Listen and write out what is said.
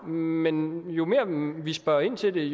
men jo mere vi spørger ind til